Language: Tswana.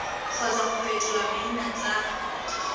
kgotsa go fetola maina tsa